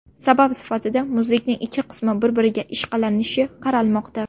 Sabab sifatida muzlikning ikki qismi bir-biriga ishqalanishi qaralmoqda.